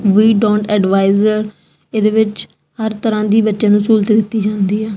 We don't advisor ਇਹਦੇ ਵਿੱਚ ਹਰ ਤਰ੍ਹਾਂ ਦੀ ਬੱਚੇ ਨੂੰ ਸਹੂਲਤ ਦਿੱਤੀ ਜਾਂਦੀ ਆ।